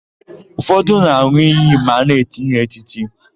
Ụfọdụ na-an̄ụ iyi ma a na-echi ha echichi.